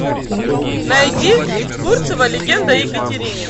найди фурцева легенда о екатерине